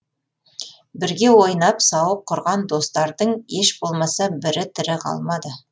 бірге ойнап сауық құрған достардың еш болмаса бірі тірі қалмады